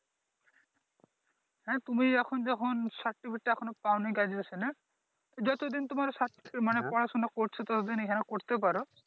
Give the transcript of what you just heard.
হ্যাঁ তুমি এখন যখন সার্টিফিকেট টা এখনো পাওনি Graduation এর যতদিন তোমার সার্টিফিকেটের মানি পড়াশুনা করছো ততদিন এইখানে করতে পারো।